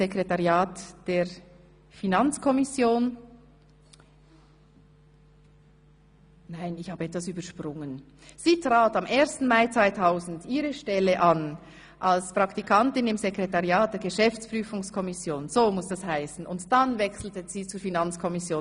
Sie trat am 1. Mai 2000 ihre Stelle als Praktikantin im Sekretariat der Geschäftsprüfungskommission an, dann wechselte sie zur Finanzkommission.